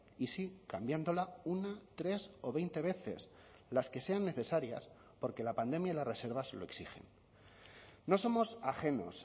y sí cambiándola una tres o veinte veces las que sean necesarias porque la pandemia y las reservas se lo exigen no somos ajenos